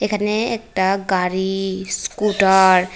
এখানে একটা গাড়ি স্কুটার --